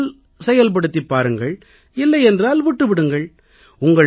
முடிந்தால் செயல்படுத்திப் பாருங்கள் இல்லை என்றால் செய்யாதீர்கள்